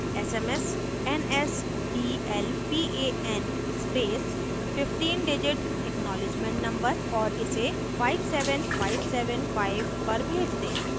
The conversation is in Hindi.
smsnsdlpan space 15digit acknowledgement number और इसे 57575 पर भेज दें